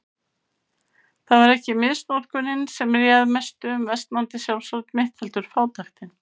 Það var ekki misnotkunin sem réð mestu um versnandi sjálfsálit mitt, heldur fátæktin.